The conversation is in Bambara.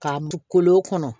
K'a don kolo kɔnɔ